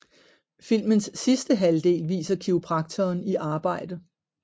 Filmens sidste halvdel viser kiropraktoren i arbejde